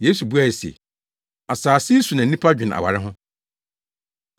Yesu buae se, “Asase yi so na nnipa dwene aware ho.